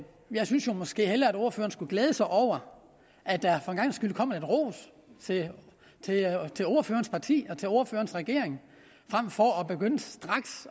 jeg synes måske hellere at ordføreren skulle glæde sig over at der for en gangs skyld kommer lidt ros til ordførerens parti og til ordførerens regering frem for at begynde straks